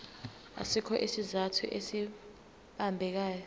asikho isizathu esibambekayo